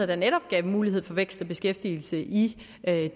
der netop gav mulighed for vækst og beskæftigelse i